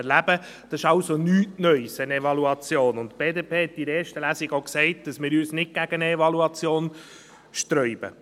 Eine Evaluation ist also nichts Neues, und die BDP hat in der ersten Lesung auch gesagt, dass wir uns nicht gegen eine Evaluation sträuben.